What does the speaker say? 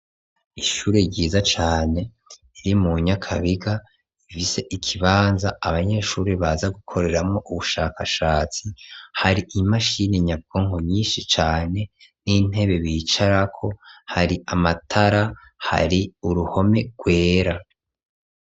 Ishure ryiza cane, riri mu Nyakabiga, rifise ikibanza, abanyeshure baza gukoreramwo ubushakashatsi; hari imashini nyabwonko nyinshi cane, n'intebe bicarako, hari amatara, hari uruhome rwera.